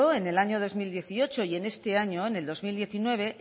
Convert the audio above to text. en el año dos mil dieciocho y en este año dos mil diecinueve